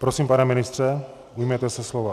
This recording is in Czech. Prosím, pane ministře, ujměte se slova.